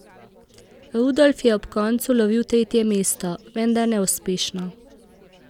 Rudolf je ob koncu lovil tretje mesto, vendar neuspešno.